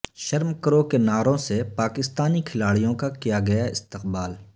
شرم کرو کے نعروں سے پاکستانی کھلاڑیوں کا کیا گیا استقبال